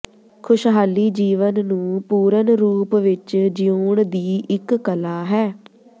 ਖੁਸ਼ਹਾਲੀ ਜੀਵਨ ਨੂੰ ਪੂਰਨ ਰੂਪ ਵਿਚ ਜੀਉਣ ਦੀ ਇਕ ਕਲਾ ਹੈ